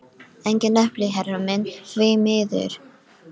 Engin epli, herra minn, því miður!